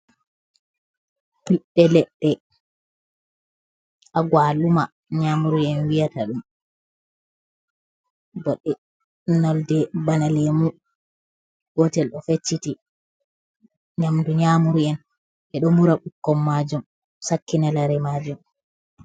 Piɗde leɗɗe agwaluma, Nyamuri'en wiyata ɗum. Nɗenolde bana lemu gotel o fecciti nyamdu nyamuri'en ɓeɗo mura ɓikkon majum sakkina lare majum.